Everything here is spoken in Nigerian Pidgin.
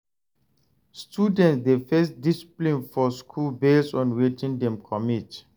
Students de face discipline for school based on wetin dem commit